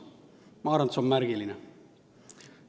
Ma arvan, et see on märgiline.